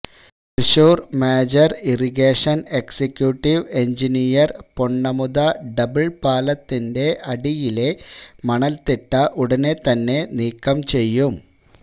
Thrissur major irrigation executive engineer പൊണ്ണമുത double പാലത്തിന്റെ അടിയിലെ മണല്ത്തിട ഉടനെ തന്നെ നീക്കം ചെയ്യും